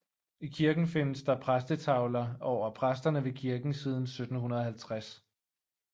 I kirken findes der præstetavler over præsterne ved kirken siden 1750